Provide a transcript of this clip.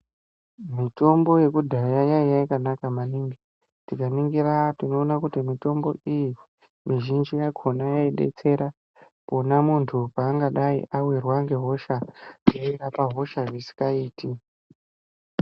Mitombo yekudhaya yaiya yakanaka maningi tika ningira tino ona kuti mutombo iyi mi zhinji yakona yai detsera pona muntu pa anga adai awirwa nge hosha dzei rapa hosha isika iti.